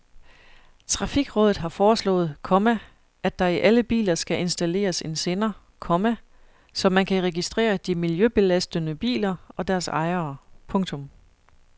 Trafikrådet har foreslået, komma at der i alle biler skal installeres en sender, komma så man kan registrere de miljøbelastende biler og deres ejere. punktum